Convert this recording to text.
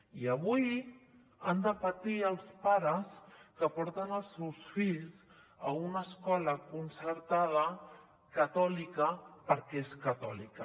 i avui han de patir els pares que porten els seus fills a una escola concertada catòlica perquè és catòlica